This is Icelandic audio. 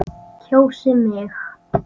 Kjósið mig.